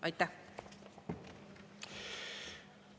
Aitäh!